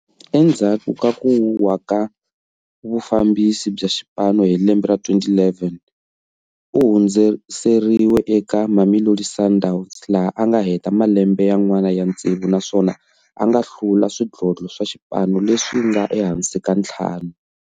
Endzhaku ka ku wa na vufambisi bya xipano hi lembe ra 2011, u hundziseriwe eka Mamelodi Sundowns laha a nga heta malembe yan'wana ya tsevu naswona anga hlula swidlodlo swa xipano leswinga ehansi ka ntlhanu.